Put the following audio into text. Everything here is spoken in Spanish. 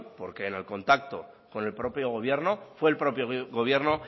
porque en el contacto con el propio gobierno fue el propio gobierno